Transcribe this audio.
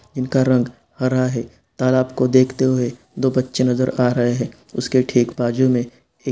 इनका रंग हरा है। तालाब को देखते हुए दो बच्चे नजर आ रहे है उसके ठीक बाजू मे एक--